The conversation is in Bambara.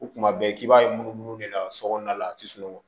O kuma bɛɛ k'i b'a ye munumunu de la sokɔnɔna la a ti sunɔgɔ